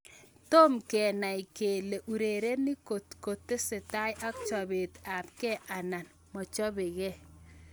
Tom kenai kele urerenik kotko tesetai ak chopet apke anan mochopeke.